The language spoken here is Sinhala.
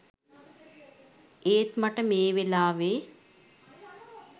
ඒත් මට මේ වෙලාවෙ